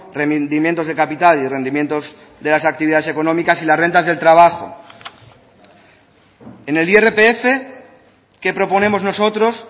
rendimientos de capital y rendimientos de las actividades económicas y las rentas del trabajo en el irpf que proponemos nosotros